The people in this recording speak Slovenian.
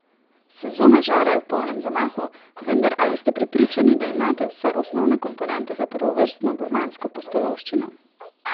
Sezona žara je v polnem zamahu, vendar ali ste prepričani, da imate vse osnovne komponente za prvovrstno gurmansko pustolovščino?